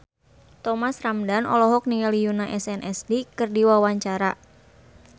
Thomas Ramdhan olohok ningali Yoona SNSD keur diwawancara